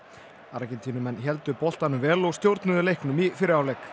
Argentínumenn héldu boltanum vel og stjórnuðu leiknum í fyrri hálfleik